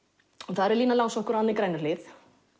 það eru Lína langsokkur og Anna í Grænuhlíð